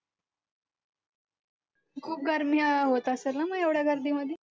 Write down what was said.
खूप गर्मी होत असेल ना मग एवढ्या गर्दीमध्ये